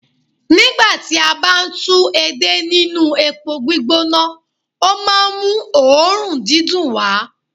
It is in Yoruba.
nígbà tí a bá ń tú èdè nínú epo gbígbóná, o máà ń mú òórùn dídùn wá.